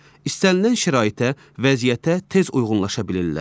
İstənilən şəraitə, vəziyyətə tez uyğunlaşa bilirlər.